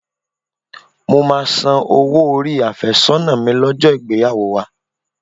Mo máa san owó orí àfẹ́sọ́nà mi lọ́jọ́ ìgbéyàwó wa